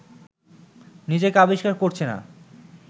নিজেকে আবিষ্কার করছে না